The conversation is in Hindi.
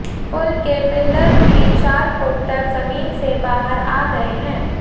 पुल के पिल्लर भी चार फुट तक जमीन से बाहर आ गए हैं